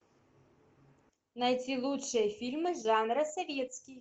найти лучшие фильмы жанра советский